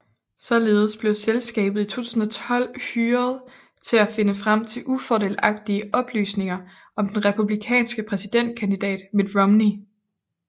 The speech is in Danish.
Således blev selskabet i 2012 hyreret til at finde frem til ufordelagtige oplysninger om den republikanske præsidentkandidat Mitt Romney